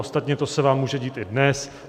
Ostatně to se vám může dít i dnes.